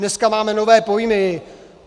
Dneska máme nové pojmy.